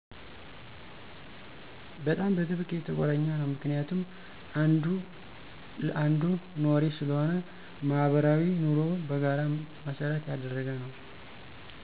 በጣም በጥብቅ የተቆራኘ ነው ምክንያቱም አንዱ ለአንዱ ኗሪ ስለሆነ፣ ማህበራዊ ኑሮው በጋራ መሰረት ያደረገ ነው።